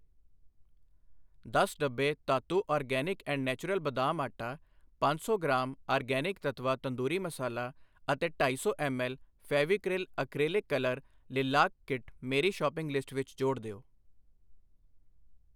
ਦਸ ਡੱਬੇ Dhatu organics and naturals ਬਦਾਮ ਆਟਾ, ਪੰਜ ਸੌ ਗ੍ਰਾਮ ਆਰਗੈਨਿਕ ਤੱਤਵਾ ਤੰਦੂਰੀ ਮਸਾਲਾ ਅਤੇ ਢਾਈ ਸੌ M L Fevicryl acrylic colour lilac kit ਮੇਰੀ ਸ਼ੌਪਿੰਗ ਲਿਸਟ ਵਿੱਚ ਜੋੜ ਦਿਓ।